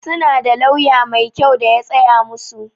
Su na da lauya mai kyau da ya tsaya musu.